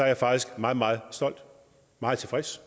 jeg faktisk meget meget stolt meget tilfreds